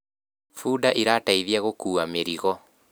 bunda irateithia gukua mĩrigo